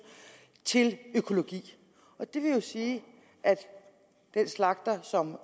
til økologi det vil jo sige at den slagter som